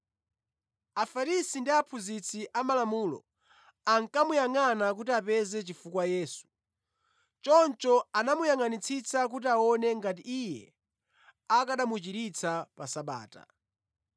Afarisi ndi aphunzitsi amalamulo ankamuyangʼana kuti apeze chifukwa Yesu, choncho anamuyangʼanitsitsa kuti aone ngati Iye akanamuchiritsa pa Sabata.